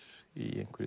í einhverri